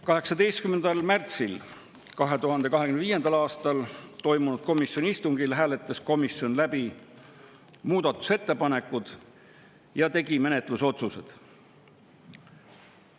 18. märtsil 2025. aastal toimunud komisjoni istungil hääletas komisjon läbi muudatusettepanekud ja tegi menetlusotsused.